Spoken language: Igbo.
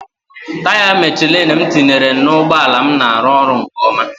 Taya Michelin m tinyere na ụgbọ ala m na-arụ ọrụ nke ọma.